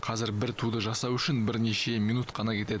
қазір бір туды жасау үшін бірнеше минут қана кетеді